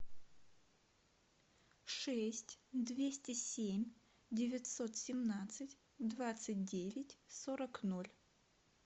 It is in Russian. шесть двести семь девятьсот семнадцать двадцать девять сорок ноль